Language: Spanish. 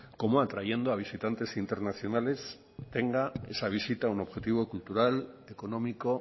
como atrayendo a visitantes internacionales tenga esa visita un objetivo cultural económico